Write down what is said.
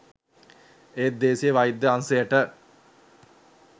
ඒත් දේශීය වෛද්‍ය අංශයට